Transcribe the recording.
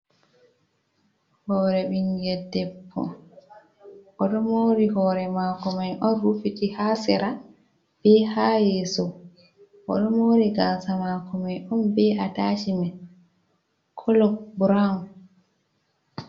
Hore ɓingel debbo odo mari hore mako mai on rufiti ha sera bi ha yeso odo mari gaasa mako mai on bi atashimen kolo brown.